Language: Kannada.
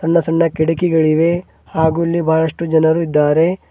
ಸಣ್ಣ ಸಣ್ಣ ಕಿಟಕಿಗಳಿವೆ ಹಾಗು ಇಲ್ಲಿ ಬಹಳಷ್ಟು ಜನರು ಇದ್ದಾರೆ.